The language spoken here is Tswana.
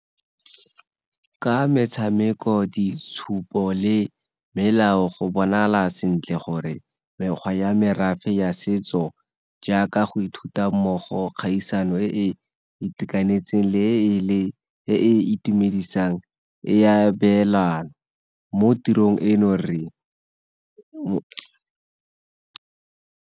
Ka metshameko, ditshupo le melao go bonagala sentle gore mekgwa ya merafe ya setso jaaka go ithuta mmogo kgaisano e e itekanetseng le e e itumedisang ya abelana mo tirong eno re.